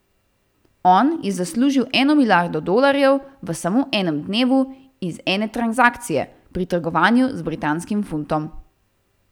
On je zaslužil eno milijardo dolarjev v samo enem dnevu iz ene transakcije, pri trgovanju z britanskim funtom.